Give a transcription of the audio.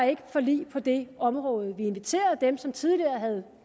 et forlig på det område vi inviterede dem som tidligere havde